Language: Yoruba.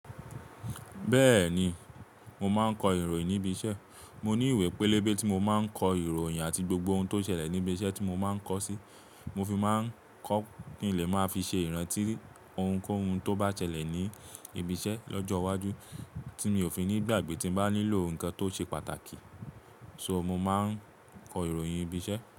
Bẹ́ẹ̀ni, mo máa ń kọ ìròyìn níbi iṣẹ́. Mo ní ìwé pélébé tí mo máa ń kọ ìròyìn àti gbogbo ohun tó ṣẹlẹ̀ níbi iṣẹ́ tí mo máa ń kọ sí. Mo fi máa ń kọ́ kíńlé máa fi ṣe ìrántí ohunkóhun tó bá ṣẹlẹ̀ ní ibi iṣẹ́ lọ́jọ́ iwájú tí mi ò fi nígbàgbé tí mo bá nílò nǹkan tó ṣe pàtàkì. So mo máa ń kọ ìròyìn ibi iṣẹ́.